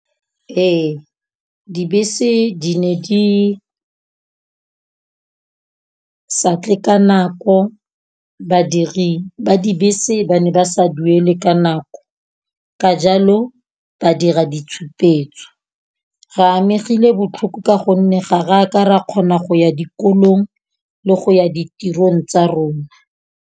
Ee, dibese di ne di sa tle ka nako. Badiri ba dibese ba ne ba sa duele ka nako, ka jalo ba dira ditshupetso. Re amegile botlhoko ka gonne ga re a ka ra kgona go ya dikolong le go ya ditirong tsa rona.